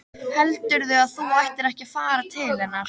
Heldurðu að þú ættir ekki að fara til hennar?